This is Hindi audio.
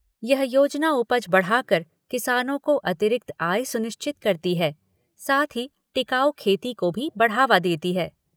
यह योजना उपज बढ़ाकर किसानों को अतिरिक्त आय सुनिश्चित करती है, साथ ही टिकाऊ खेती को भी बढ़ावा देती है।